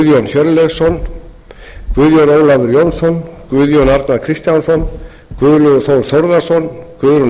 hjörleifsson guðjón ólafur jónsson guðjón arnar kristjánsson guðlaugur þór þórðarson guðrún